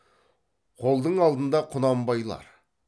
қолдың алдында құнанбайлар